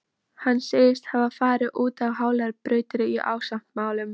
Hann segist hafa farið út á hálar brautir í ástamálum.